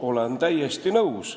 Olen täiesti nõus.